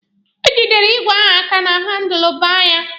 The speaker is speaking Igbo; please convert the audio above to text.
O jidere igwe ahụ aka na handụlụ baa ya.